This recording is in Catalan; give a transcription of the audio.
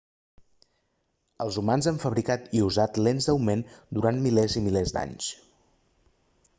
els humans han fabricat i usat lents d'augment durant milers i milers d'anys